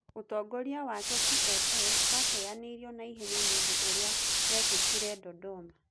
Ũtongoria wake TLS wateyanĩĩrĩo naihenya nĩundo ũria wekekire dodoma